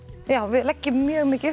við leggjum mjög mikið